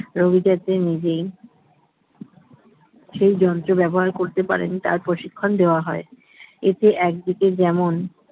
রোগী যাতে নিজেই সেই যন্ত্র ব্যবহার করতে পারেন তার প্রশিক্ষণ দেওয়া হয় এতে একদিকে যেমন